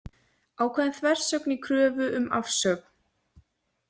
Ákveðin þversögn í kröfu um afsögn